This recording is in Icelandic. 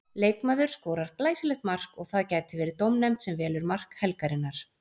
Leikmaður skorar glæsilegt mark og það gæti verið dómnefnd sem velur mark helgarinnar.